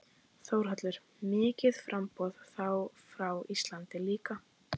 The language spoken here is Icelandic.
Þórhallur: Mikið framboð, þá frá Íslandi líka?